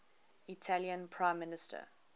italian prime minister